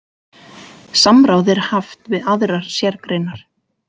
Samráð er haft við aðrar sérgreinar.